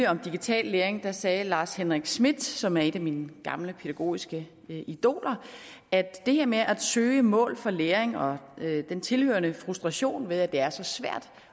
om digital læring sagde lars henrik schmidt som er et af mine gamle pædagogiske idoler at det her med at søge mål for læring og den tilhørende frustration ved at det er så svært